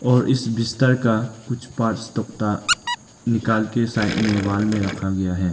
और इस बिस्तर का कुछ पार्ट्स तोकता निकाल के साइड में वॉल में रखा गया है।